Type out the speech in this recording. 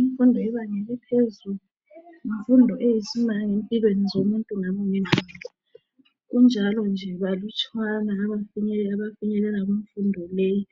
Infundo yebanga eliphezulu ,yinfundo eyisimanga empilweni zomuntu ngamunye ngamunye .Kunjalo nje balutshwane abafinyelelayo kumfundo leyi